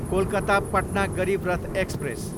Kolkata, Patna Garib Rath express